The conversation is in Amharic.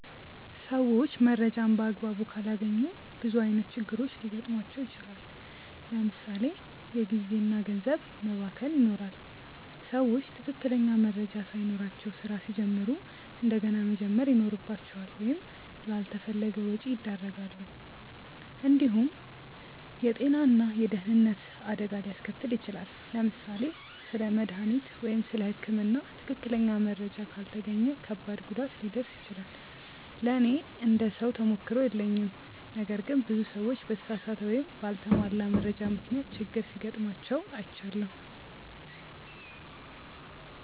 ሰዎች መረጃን በአግባቡ ካላገኙ ብዙ ዓይነት ችግሮች ሊገጥሟቸው ይችላል። ለምሳ ሌ የጊዜ እና ገንዘብ መባከን ይኖራል። ሰዎች ትክክለኛ መረጃ ሳይኖራቸው ስራ ሲጀምሩ እንደገና መጀመር ይኖርባቸዋል ወይም ላልተፈለገ ወጪ ያደርጋሉ። እንዲሁም የጤና ወይም የደህንነት አደጋ ሊያስከትል ይችላል። ለምሳሌ ስለ መድሃኒት ወይም ስለ ህክምና ትክክለኛ መረጃ ካልተገኘ ከባድ ጉዳት ሊደርስ ይችላል። ለእኔ እንደ ሰው ተሞክሮ የለኝም ነገር ግን ብዙ ሰዎች በተሳሳተ ወይም በአልተሟላ መረጃ ምክንያት ችግር ሲጋጥማቸው አይቻለሁ።